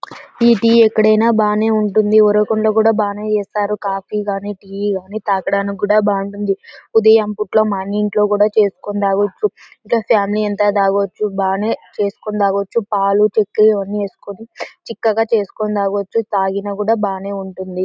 ఈ టీ ఎక్కడైనా బనే ఉంటుంది. ఉరవకొండ లో కూడా బనే చేస్తారు. కాఫీ గని టీ గని తాగడానికి కూడా బనే ఉంటుంది. ఉదాయం పుట్ల మన ఇంట్లో కూడా చేసుకొని తాగొచ్చు. ఇట్లా ఫామిలీ అంత తాగొచ్చు. బనే చేసుకొని తాగొచ్చు పలు చెక్కర అన్ని వెస్కొని చిక్కగా చేసుకొని తాగొచ్చు. తగిన కూడా బనే ఉంటుంది.